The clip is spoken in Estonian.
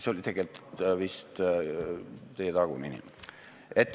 See oli tegelikult vist teie taga olev inimene.